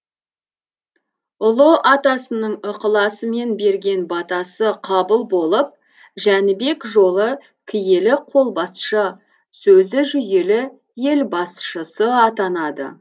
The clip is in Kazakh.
ұлы атасының ықыласымен берген батасы қабыл болып жәнібек жолы киелі қолбасшы сөзі жүйелі ел басшысы атанады